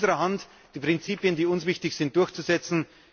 Es liegt in unserer Hand, die Prinzipien, die uns wichtig sind, durchzusetzen.